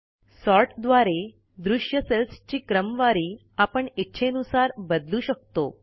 सॉर्टद्वारे दृश्य सेल्सची क्रमवारी आपण इच्छेनुसार बदलू शकतो